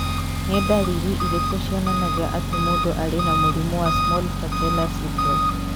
Nĩ ndariri irĩkũ cionanagia atĩ mũndũ arĩ na mũrimũ wa Small patella syndrome?